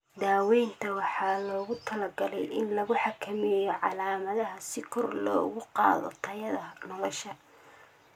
Daaweynta waxaa loogu talagalay in lagu xakameeyo calaamadaha si kor loogu qaado tayada nolosha.